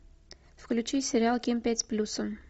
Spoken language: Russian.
включи сериал ким пять с плюсом